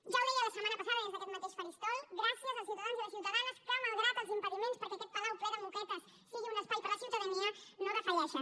ja ho deia la setmana passada des d’aquest mateix faristol gràcies als ciutadans i les ciutadanes que malgrat els impediments perquè aquest palau ple de moquetes sigui un espai per a la ciutadania no defalleixen